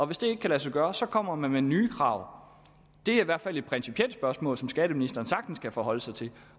hvis det ikke kan lade sig gøre så kommer man med nye krav det i hvert fald et principielt spørgsmål som skatteministeren sagtens kan forholde sig til